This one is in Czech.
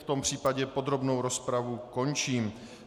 V tom případě podrobnou rozpravu končím.